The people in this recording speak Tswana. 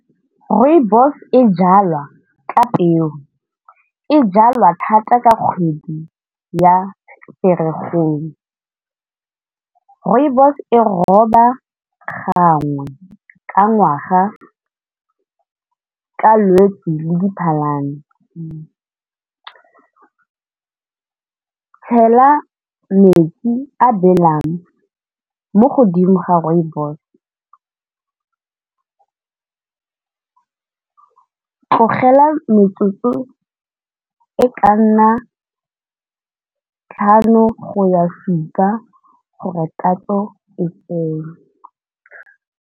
Rooibos e jalwa ka peo, e jalwa thata ka kgwedi ya Ferikgong. Rooibos e roba gangwe ka ngwaga ka Lwetsi le Diphalane, tshela metsi a belang mo godimo ga rooibos tlogela metsotso e ka nna tlhano go ya supa gore tatso e tsene.